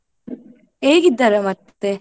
ಹೇಗಿದ್ದಾರೆ ಮತ್ತೆ.